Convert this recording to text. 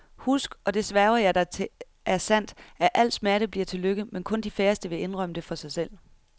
Husk, og det sværger jeg dig til er sandt, at al smerte bliver til lykke, men kun de færreste vil indrømme det for sig selv .